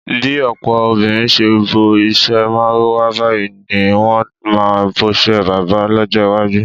Bí ò̩pò̩ obìnrin s̩e bo is̩é̩ márúwá báyìí ní wo̩n máa bos̩é̩ bábà ló̩jó̩ iwájú.